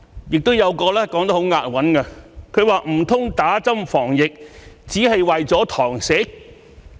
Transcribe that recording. "亦有一個說得很押韻的，他說："唔通打針防疫，只係為咗堂食？